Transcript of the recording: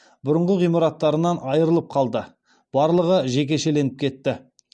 бұрынғы ғимараттарынан айрылып қалды барлығы жекешеленіп кетті